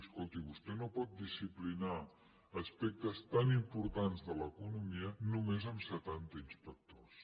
escolti vostè no pot disciplinar aspectes tan importants de l’economia només amb setanta inspectors